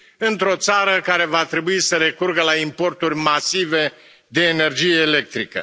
într o țară care va trebui să recurgă la importuri masive de energie electrică.